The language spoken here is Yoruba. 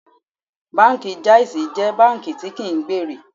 Báńkì Jáísí jẹ́ báńkì tí kí ń gbèrè.